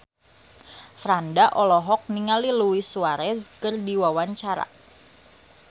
Franda olohok ningali Luis Suarez keur diwawancara